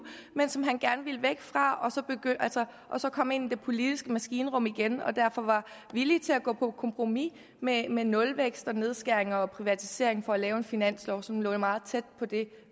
men som han gerne ville væk fra og så komme ind i det politiske maskinrum igen og derfor villig til at gå på kompromis med med nulvækst og nedskæringer og privatiseringer for at lave en finanslov som lå meget tæt på det